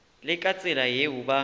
le ka tsela yeo ba